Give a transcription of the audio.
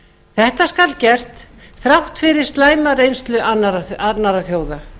þetta skal gert þrátt fyrir slæma reynslu annarra þjóða